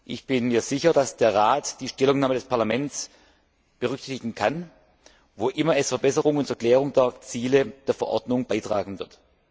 Ich bin mir sicher, dass der Rat die Stellungnahme des Parlaments berücksichtigen kann, wo immer es Verbesserungen zur Klärung der Ziele der Verordnung beitragen wird.